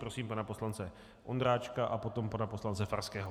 Prosím pana poslance Ondráčka a potom pana poslance Farského.